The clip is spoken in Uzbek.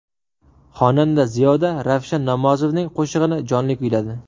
Xonanda Ziyoda Ravshan Namozovning qo‘shig‘ini jonli kuyladi.